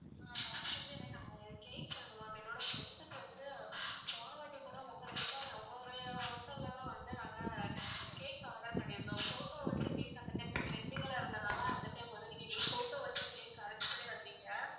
ஆஹ் first வந்து எனக்கு அஹ் cake சொல்லணும் ma'am என்னோட friend க்கு வந்து போன வாட்டி கூட உங்க restaurant உங்களுடைய hotel ல தான் வந்து நாங்க cake order பண்ணியிருந்தோம் photo வச்ச cake அந்த time ல trending ல இருந்தனால அந்த time ல நீங்க எங்களுக்கு photo வச்ச cake arrange பண்ணி தந்தீங்க